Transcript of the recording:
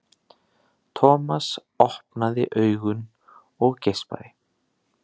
Thomas opnaði augun og geispaði.